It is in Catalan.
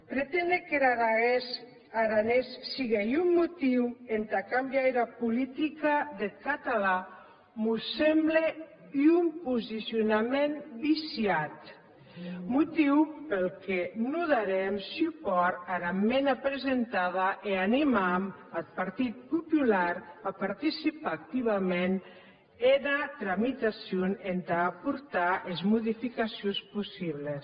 preténer qu’er aranés sigue un motiu entà cambiar era politica deth catalan mos semble un posicionament viciat motiu peth que non daram supòrt ara esmenda presentada e animam ath partit popular tà participar activament ena tramitacion entà aportar es modificacions possibles